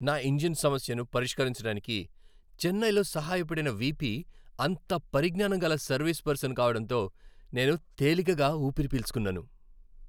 నా ఇంజిన్ సమస్యను పరిష్కరించటానికి చెన్నైలో సహాయపడిన వీపీ అంత పరిజ్ఞానం గల సర్వీస్ పర్సన్ కావడంతో నేను తేలికగా ఊపిరి పీల్చుకున్నాను.